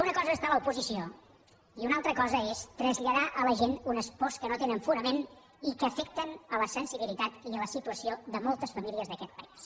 una cosa és estar a l’oposició i una altra cosa és traslladar a la gent unes pors que no tenen fonament i que afecten la sensibilitat i la situació de moltes famílies d’aquest país